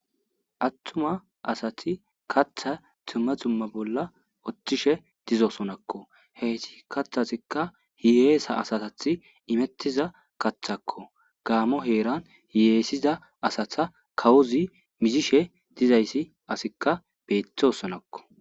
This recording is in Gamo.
Attuma asati kaththan dumma dumma bolla uttishe dizosonakko. Heyssi kaththazikka hiyyesa asatas imetiza kaththakko. Gaammo heeran hiyessida asata kawozi mizishe dizays asikka beettosonakko.